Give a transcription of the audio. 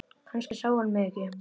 Kannski sá hann mig ekki.